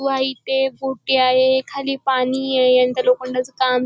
white ये गोटी आहेखाली पाणी ए यांच लोखंडाचं काम --